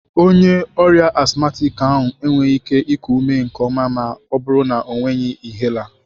Onye ọrịa asthmatic ahụ enweghị ike iku ume nke ọma ma ọ bụrụ na ọ nweghị inhaler.